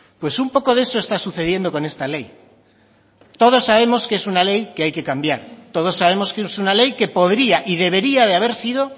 pues un poco de eso está sucediendo con esta ley todos sabemos que es una ley que hay que cambiar todos sabemos que es una ley que podría y debería de haber sido